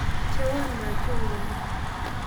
Bcheywoo machungwaat